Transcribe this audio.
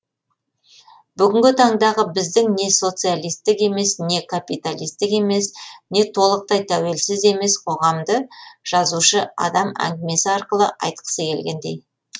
бүгінгі таңдағы біздің не социалистік емес не копиталистік емес не толықтай тәуелсіз емес қоғамды жазушы адам әңгімесі арқылы айтқысы келгендей